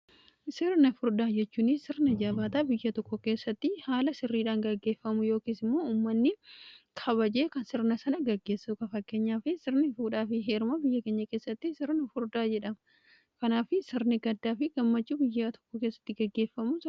Sirni furdaa jechuuni sirna jabaataa biyya tokko keessatti haala sirriidhaan gaggeeffamu yookiis immoo ummanni kabajee kan sirna sana gaggeessa ka fakkeenyaa fi sirni fuudhaa fi heerma biyya keenya keessatti sirni furdaa jedhama kanaa fi sirni gaddaa fi gammachuu biyyaa tokko keessatti gaggeeffamu.